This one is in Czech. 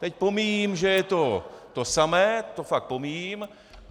Teď pomíjím, že je to to samé, to fakt pomíjím.